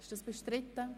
Ist dies bestritten?